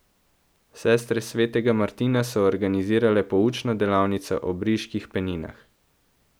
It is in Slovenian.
Sestre Svetega Martina so organizirale poučno delavnico o briških peninah.